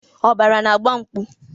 Ọbara na-agba mkpu.